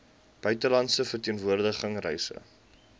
buitelandse verteenwoordiging reise